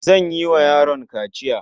An yi wa yaron kaciya.